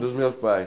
Dos meus pais.